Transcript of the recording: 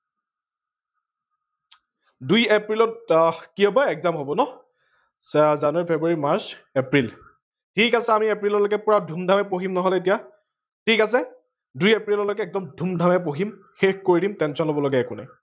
দুই এপ্ৰিলত কি হব exam হব ন? জানুৱাৰী, ফেব্ৰুৱাৰী, মাৰ্চ, এপ্ৰিল ঠিক আছে আমি এপ্ৰিললৈকে ধুম ধামে পঢ়িম নহলে এতিয়া ঠিক আছে দুই এপ্ৰিললৈকে এগ্দম ধুম ধামে পঢ়িম শেষ কৰি দিম tension লব লগা একো নাই